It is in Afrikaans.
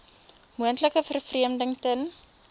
moontlike vervreemding ten